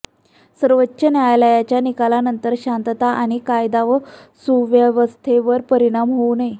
सर्वोच्च न्यायालयाच्या निकालानंतर शांतता आणि कायदा व सुव्यवस्थेवर परिणाम होऊ नये